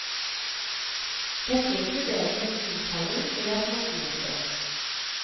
Dette inkluderer innkalling til et nattmøte.